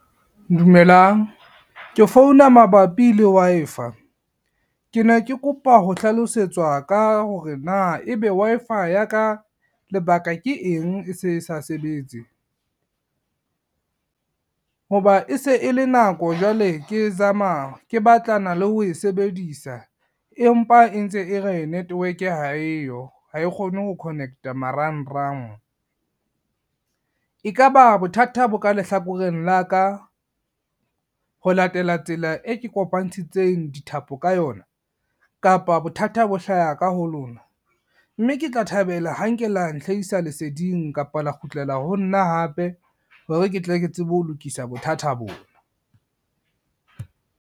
Dumelang ke founa mabapi le Wi-Fi. Ke ne ke kopa ho hlalosetswa ka hore na ebe Wi-Fi ya ka lebaka ke eng e se sa sebetse. Ho ba e se e le nako jwale ke zama, ke batlana le ho e sebedisa empa e ntse e re network ha eyo ha e kgone ho connect-a marangrang. Ekaba bothata bo ka lehlakoreng la ka, ho latela tsela e ke kopantshitseng dithapo ka yona kapa bothata bo hlaha ka ho lona, mme ke tla thabela ha nke la nhlaisa leseding kapa la kgutlela ho nna hape hore ke tle ke tsebe ho lokisa bothata bona.